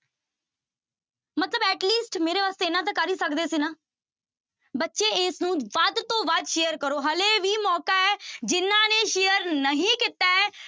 ਮਤਲਬ at least ਮੇਰੇ ਵਾਸਤੇ ਇੰਨਾ ਤਾਂ ਕਰ ਹੀ ਸਕਦੇ ਸੀ ਨਾ ਬੱਚੇ ਇਸਨੂੰ ਵੱਧ ਤੋਂ ਵੱਧ share ਕਰੋ ਹਾਲੇ ਵੀ ਮੌਕਾ ਹੈ ਜਿਹਨਾਂ ਨੇ share ਨਹੀਂ ਕੀਤਾ ਹੈ,